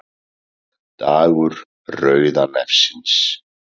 Dagur rauða nefsins